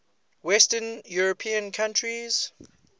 western european countries